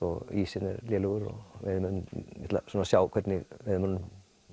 ísinn er lélegur og ég ætla að sjá hvernig veiðimönnunum